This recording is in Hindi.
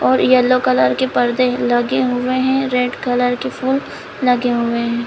और येलो कलर के परदे लगे हुए हैं रेड कलर के फूल लगे हुए हैं ।